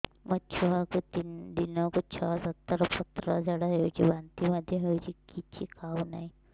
ମୋ ଛୁଆକୁ ଦିନକୁ ଛ ସାତ ଥର ପତଳା ଝାଡ଼ା ହେଉଛି ବାନ୍ତି ମଧ୍ୟ ହେଉଛି କିଛି ଖାଉ ନାହିଁ